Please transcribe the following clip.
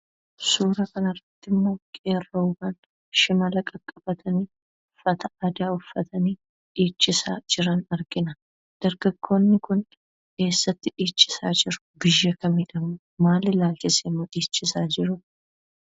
Suuraa kana irratti immoo qeerroowwan shimala qaqqabatanii, uffata aadaa uffatanii dhiichisaa jiran argina. dargaggoonni kun, eessatti dhiichisaa jiru? biyya kamidhammo? maaliifimmo dhiichisa jiru?